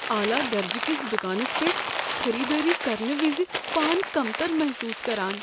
اعلی درجٕہٕ کِس دکانس پیٹھ خریدٲری کرنہٕ وز پان کمتر محصوص كران ۔